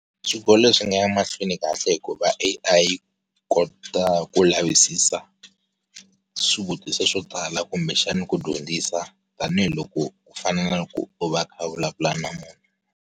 Swikolo swi nga ya mahlweni kahle hikuva A_I kota ku lavisisa, swivutiso swo tala kumbexana ku dyondzisa, tanihiloko, ku fana na loko u va kha u vulavula na munhu.